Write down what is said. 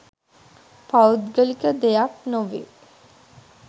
පෞද්ගලික දෙයක් නොවේ.